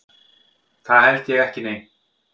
Það held ég ekki nei.